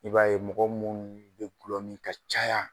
I b'a ye mɔgɔ munnu bɛ gulɔ min ka caya.